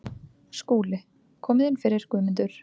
SKÚLI: Komið inn fyrir, Guðmundur.